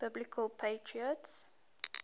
biblical patriarchs